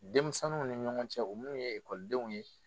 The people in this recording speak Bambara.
Denmisɛnninw ni ɲɔgɔn cɛ u munnu ye ekɔlidenw ye.